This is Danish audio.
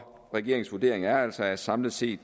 regeringens vurdering er altså at samlet set